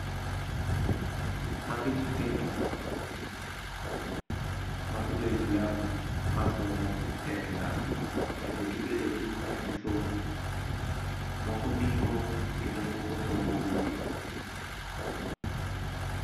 Magi nyithindo mag joislam masomo e klas kendo gibedo piny kagisomo. Moko ndiko kendo moko somo buge.